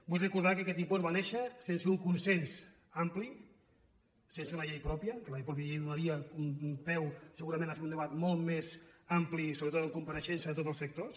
vull recordar que aquest impost va néixer sense un consens ampli sense una llei pròpia que la mateixa llei donaria peu segurament a fer un debat molt més ampli i sobretot amb compareixents de tots els sectors